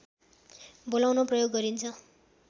बोलाउन प्रयोग गरिन्छ